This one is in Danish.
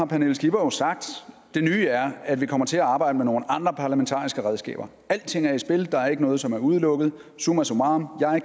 pernille skipper sagt det nye er at vi kommer til at arbejde med nogle andre parlamentariske redskaber alting er i spil der er ikke noget som er udelukket summa summarum